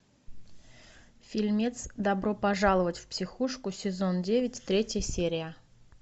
фильмец добро пожаловать в психушку сезон девять третья серия